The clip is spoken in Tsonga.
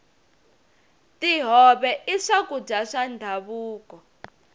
tihove i swakudya swa ndhavuko